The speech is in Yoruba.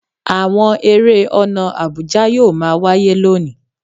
Awọn ere ọna àbùjá yoo maa waye loni